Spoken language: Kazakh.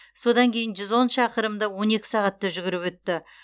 содан кейін жүз он шақырымды он екі сағатта жүгіріп өтті